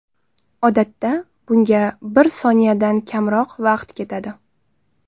Odatda, bunga bir soniyadan kamroq vaqt ketadi.